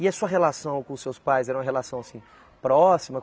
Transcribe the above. E a sua relação com seus pais era uma relação assim próxima?